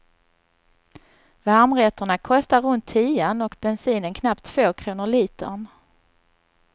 Varmrätterna kostar runt tian och bensinen knappt två kronor litern.